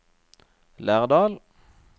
Lærdal